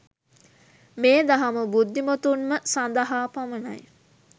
මේ දහම බුද්ධිමතුන්ම සදහා පමණයි.